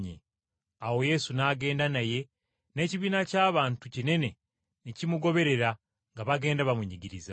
Awo Yesu n’agenda naye n’ekibiina ky’abantu kinene ne kimugoberera nga bagenda bamunyigiriza.